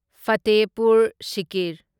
Fatehpur Sikri